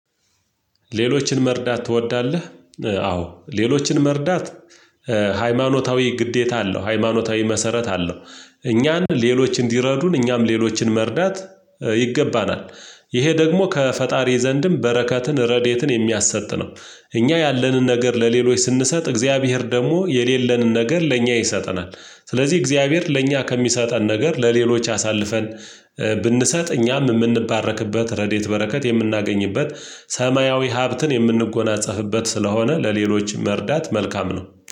ሌሎችን መርዳት ትወዳለህ? አዎ ሌሎችን መርዳት ሃይማኖታዊ ግዴታ አለው ሃይማኖታዊ መሰረት አለው። እኛን ሌሎች እንዲረዱን እኛም ሌሎችን መርዳት ይገባናል። ይሄ ደግሞ ከፈጣሪ ዘንድም በረከትን ረድኤትን የሚያሰጥ ነው። እኛ ያለንን ነገር ለሌሎች ስንሰጥ እግዚአብሔር ደግሞ የሌለንን ነገር ለእኛ ይሰጠናል። ስለዚህ እግዚአብሔር ለእኛ ከሚሰጠን ነገር ለሌሎች አሳልፈን ብንሰጥ እኛም የምንባረክበት ረድኤት በረከት የምናገኝበት ሰማያዊ ሀብትን የምንጎናጸፍበት ስለሆነ ለሌሎች መርዳት መልካም ነው